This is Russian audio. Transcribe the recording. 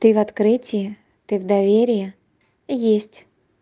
ты в открытие ты в доверие есть